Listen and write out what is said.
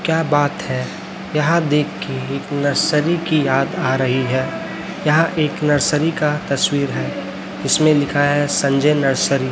क्या बात है यहां देख के एक नर्सरी की याद आ रही है यह एक नर्सरी का तस्वीर है जिसमें लिखा है संजय नर्सरी --